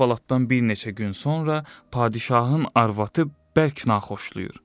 Bu əhvalatdan bir neçə gün sonra padşahın arvadı bərk naxoşlayır.